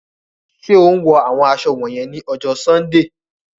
Ṣe o ń wọ awọn aṣọ wọnyẹn ni ọjọ Sundee?